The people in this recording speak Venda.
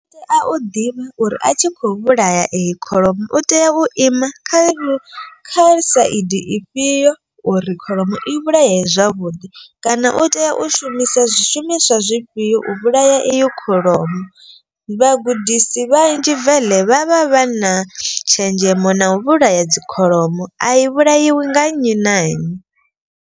A u ḓivhe uri a tshi kho vhulaya eyi kholomo u tea u ima kha iyo kha saidi ifhio uri kholomo i vhulayeye zwavhuḓi. Kana u tea u shumisa zwishumiswa zwifhio u vhulaya iyo kholomo. Vhagudisi vhanzhi veḽe vha vha vha na tshenzhemo na u vhulaya dzi kholomo a i vhulaiwi nga nnyi na nnyi.